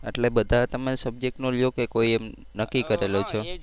એટલે બધા તમે subject નો લયો કે કોઈ એમ નક્કી કરેલો છે?